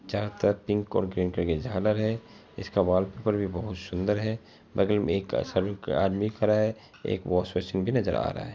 जहाँ पर तीन कोंकृंत के झालर हैं इसका वालपेपर भी बोहुत सुंदर हैं बगल में एक सर्व आदमी खड़ा है एक वॉश बेसिन भी नजर आ रहा हैं।